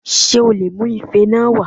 Ṣé o lè mu Ife náà wá